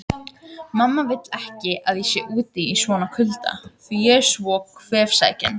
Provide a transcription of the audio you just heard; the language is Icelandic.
Mamma vill ekki að ég sé úti í svona kulda því ég er svo kvefsækinn